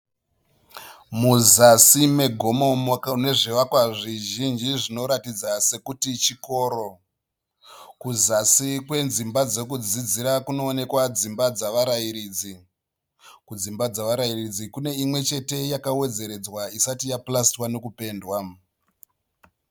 Muzasi megomo munezvivakwa zvizhinji zvinoratidza sekuti chikoro. Kuzasi kwedzimba dzekudzidzira kunoonekwa dzimba dzavarairidzi. Kudzimba dzevarairidzi kune imwechete yakawedzweredzwa isati yapurasitiwa nekupendwa